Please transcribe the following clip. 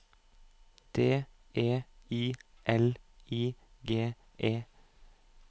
D E I L I G E